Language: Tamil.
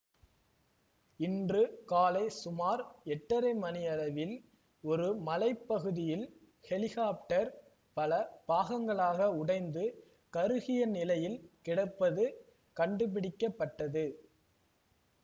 இன்று காலை சுமார் எட்டரை மணியளவில் ஒரு மலை பகுதியில் ஹெலிகாப்டர் பல பாகங்களாக உடைந்து கருகிய நிலையில் கிடப்பது கண்டுபிடிக்க பட்டது